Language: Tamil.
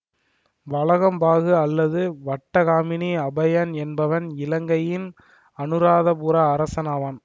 வலகம்பாகு அல்லது வட்டகாமினி அபயன் என்பவன் இலங்கையின் அனுராதபுர அரசனாவான்